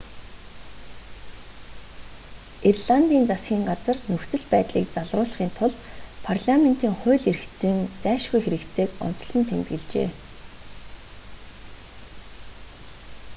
ирландын засгийн газар нөхцөл байдлыг залруулахын тулд парламентын хууль эрх зүйн зайлшгүй хэрэгцээг онцлон тэмдэглэжээ